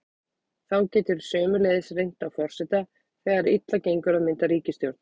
Þá getur sömuleiðis reynt á forseta þegar þegar illa gengur að mynda ríkisstjórn.